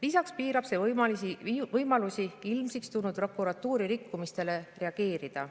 Lisaks piirab see võimalusi ilmsiks tulnud prokuratuuri rikkumistele reageerida.